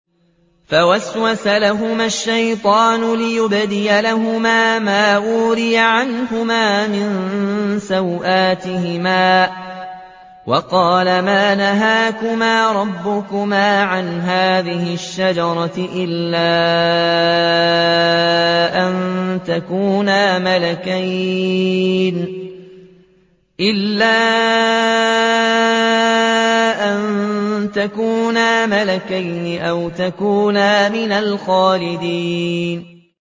فَوَسْوَسَ لَهُمَا الشَّيْطَانُ لِيُبْدِيَ لَهُمَا مَا وُورِيَ عَنْهُمَا مِن سَوْآتِهِمَا وَقَالَ مَا نَهَاكُمَا رَبُّكُمَا عَنْ هَٰذِهِ الشَّجَرَةِ إِلَّا أَن تَكُونَا مَلَكَيْنِ أَوْ تَكُونَا مِنَ الْخَالِدِينَ